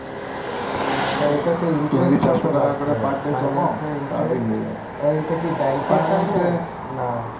এইটাতে interest এইটা কি bank এর না